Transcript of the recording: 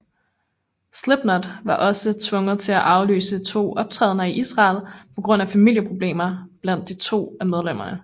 Slipknot var også tvunget til at aflyse to optrædener i Israel på grund af familieproblemer blandt to af medlemmerne